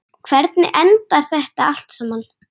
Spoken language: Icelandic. Hvernig endar þetta allt saman?